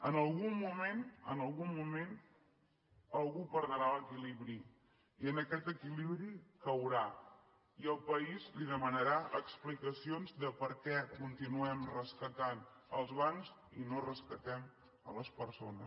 en algun moment en algun moment algú perdrà l’equilibri i en aquest equilibri caurà i el país li demanarà explicacions de per què continuem rescatant els bancs i no rescatem les persones